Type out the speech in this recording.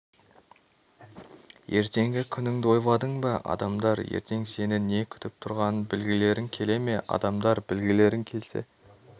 ертеңгі күніңді ойладың ба адамдар ертең сені не күтіп тұрғанын білгілерің келе ме адамдар білгілерің келсе